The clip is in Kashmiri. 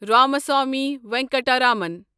رامسوامی ونکٹرامن